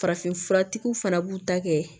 Farafinfuratigiw fana b'u ta kɛ